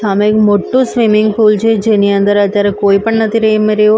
સામે એક મોટું સ્વિમિંગ પુલ છે જેની અંદર અત્તારે કોઈ પણ નથી રૈમી રહ્યું.